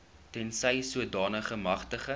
tensy sodanige magtiging